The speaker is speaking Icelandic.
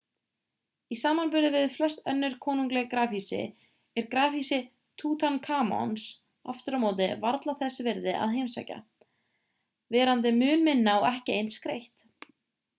í samanburði við flest önnur konungleg grafhýsi er grafhýsi tútankamons aftur á móti varla þess virði að heimsækja verandi mun minna og ekki eins skreytt